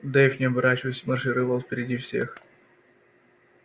дейв не оборачиваясь маршировал впереди всех